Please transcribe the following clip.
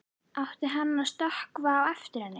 Átti hann að stökkva á eftir henni?